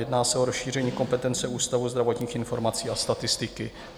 Jedná se o rozšíření kompetence Ústavu zdravotních informací a statistiky.